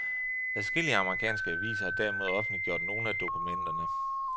Adskillige amerikanske aviser har derimod offentliggjort nogle af dokumenterne.